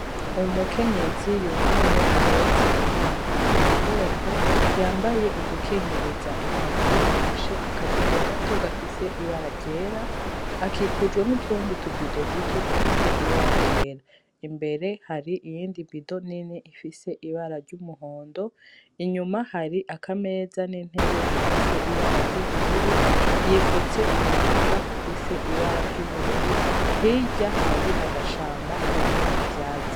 Uwu mukenyezi yunamye ahetse umwana ku mugongo yambaye udukingiriza intoki afashe akabido gato gafise ibara ryera akikujwa n'utundi tubido duto dufise ibara ryera imbere hari iyindivido nini ifise ibara ry'umuhondo inyuma hari kameza n'entebe bifise ibara ry'ubururu yifutse umutaka ufise ibara ry'ubururu hirya hari agashamba karimwo ivyazi.